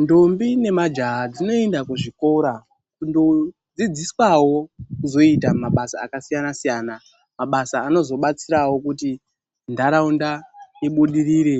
Ndombi ne majaha dzinoenda kuzvikora kundofundiswawo kuzoite mishando yakasiyana-siyana. Mishando inozodetserawo kuti ntharaunda ibudirire